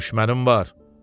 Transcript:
düşmənim var.